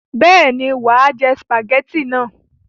Bẹ́ẹ̀ ni, wà á jẹ sìpàgẹ́tì náà.